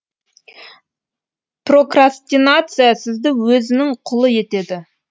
прокрастинация сізді өзінің құлы етеді